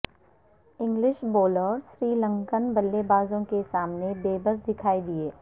English bowler Sri Lankan بلے بازوں کے سامنے بےبس دکھائی دیے